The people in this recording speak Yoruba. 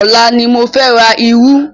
Ọ̀la ni mo fẹ́ ra irú.